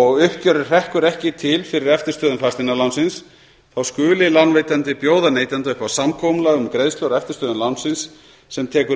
og uppgjörið hrekkur ekki til fyrir eftirstöðvum fasteignalánsins skuli lánveitandi bjóða neytanda upp á samkomulag um greiðslur á eftirstöðvum lánsins sem tekur mið